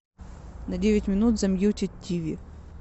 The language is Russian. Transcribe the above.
на девять минут замьютить тиви